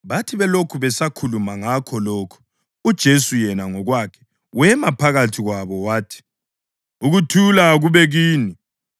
Bathi belokhu besakhuluma ngakho lokhu, uJesu yena ngokwakhe wema phakathi kwabo wathi, “Ukuthula kakube kini.”